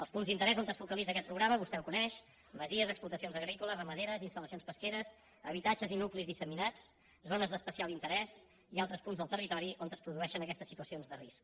els punts d’interès on es focalitza aquest programa vostè els coneix masies explotacions agrícoles i ramaderes instal·lacions pesqueres habitatges i nuclis disseminats zones d’especial interès i altres punts del territori on es produeixen aquestes situacions de risc